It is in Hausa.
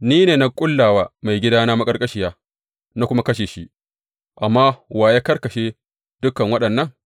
Ni ne na ƙulla wa maigidana maƙarƙashiya, na kuma kashe shi, amma wa ya karkashe dukan waɗannan?